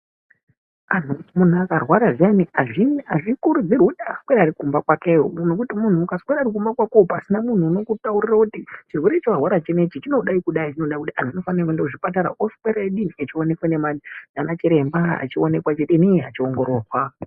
Munhu akarwara zviyani azvikurudzirwi kuswera ariyo kumba kwakeyo nekuti munhu ukaswera uri kumba kwakoyo pasina munhu unokutaurira kuti chirwere chawarwara chinechi chinodai kudai anhu anofana kuenda kuchipatara oswera eidini achionekwa ndianachirembaa achiongororwa.